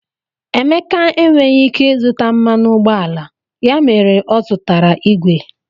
Emeka enweghị ike ịzụta mmanụ ụgbọala, ya mere ọ zụtara igwe.